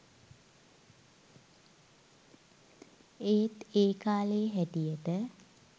ඒත් ඒ කාලේ හැටියට